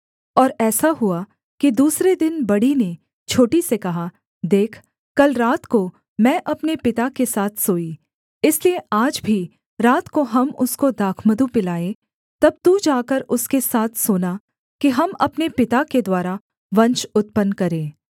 और ऐसा हुआ कि दूसरे दिन बड़ी ने छोटी से कहा देख कल रात को मैं अपने पिता के साथ सोई इसलिए आज भी रात को हम उसको दाखमधु पिलाएँ तब तू जाकर उसके साथ सोना कि हम अपने पिता के द्वारा वंश उत्पन्न करें